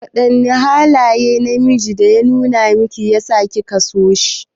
Wadanne halaye ne mijinki ya numa miki da yasa kika so shi?